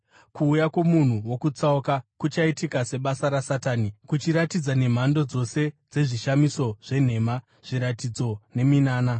Kuuya kwomunhu wokutsauka kuchaitika sebasa raSatani kuchiratidza nemhando dzose dzezvishamiso zvenhema, zviratidzo neminana,